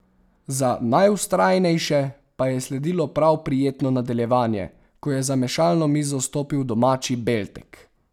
Za najvztrajnejše pa je sledilo prav prijetno nadaljevanje, ko je za mešalno mizo stopil domači Beltek.